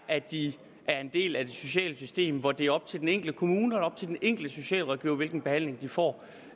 at de er en del af det sociale system hvor det er op til den enkelte kommune og op til den enkelte socialrådgiver hvilken behandling de får